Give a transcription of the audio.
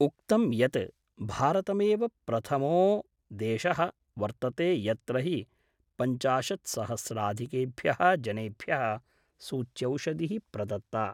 उक्तं यत् भारतमेव प्रथमो देश: वर्तते यत्र हि पंचाशत्सहस्राधिकेभ्य: जनेभ्य: सूच्यौषधि: प्रदत्ता।